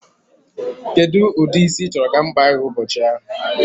Kedụ ụdịrị isi ị chọrọ ka m kpaa gị ụbọchị ahụ?